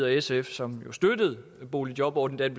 sf som jo støttede boligjobordningen